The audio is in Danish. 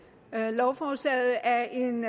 lovforslaget er en